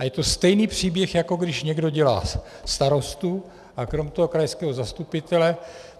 A je to stejný příběh, jako když někdo dělá starostu a krom toho krajského zastupitele.